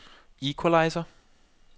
equalizer